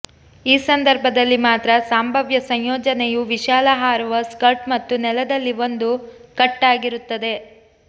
ಈ ಸಂದರ್ಭದಲ್ಲಿ ಮಾತ್ರ ಸಂಭಾವ್ಯ ಸಂಯೋಜನೆಯು ವಿಶಾಲ ಹಾರುವ ಸ್ಕರ್ಟ್ ಮತ್ತು ನೆಲದಲ್ಲಿ ಒಂದು ಕಟ್ ಆಗಿರುತ್ತದೆ